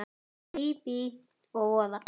Bíbí og voða.